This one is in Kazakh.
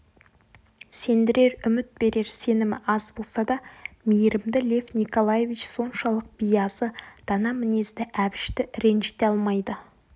сендірер үміт берер сенімі аз болса да мейірімді лев николаевич соншалық биязы дана мінезді әбішті ренжіте алмайды